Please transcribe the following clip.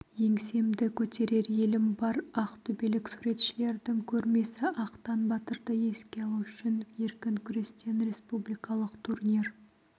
еңсемді көтерер елім бар ақтөбелік суретшілердің көрмесі ақтан батырды еске алу үшін еркін күрестен республикалық турнир